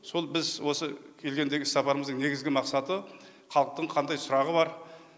сол біз осы келгендегі іссапарымыздың негізгі мақсаты халықтың қандай сұрағы бар